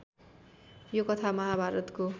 यो कथा महाभारतको